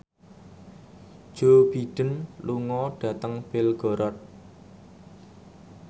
Joe Biden lunga dhateng Belgorod